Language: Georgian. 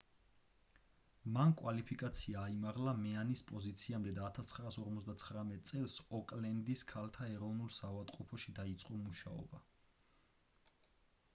მან კვალიფიკაცია აიმაღლა მეანის პოზიციამდე და 1959 წელს ოკლენდის ქალთა ეროვნულ საავადმყოფოში დაიწყო მუშაობა